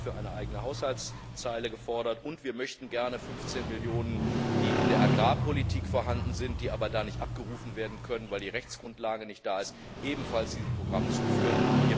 Wir haben dafür eine eigene Haushaltszeile gefordert, und wir möchten gerne 15 Millionen Euro, die in der Agrarpolitik vorhanden sind, da aber nicht abgerufen werden können, weil die Rechtsgrundlage nicht vorhanden ist, ebenfalls diesem Programm zuführen.